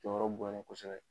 Jɔyɔrɔ bonyana ye kosɛbɛ.